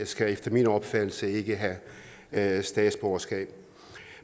skal efter min opfattelse ikke have statsborgerskab